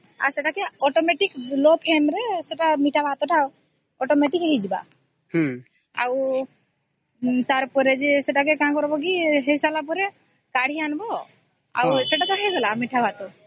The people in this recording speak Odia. ଆଉସ ଏଟା କେ automatic low flame ରେ ମିଠା ଭାତ ଟା ହେଇଯିବ ଆଉ ତାର ପରେ କି ସେଟା କେ ହେଇ ସରିଲା ପରେ କାଢି ଆଣିବା ସେଟା ଟା ହେଇଗଲା ମିଠା ଭାତ